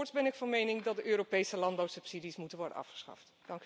Voorts ben ik van mening dat de Europese landbouwsubsidies moeten worden afgeschaft.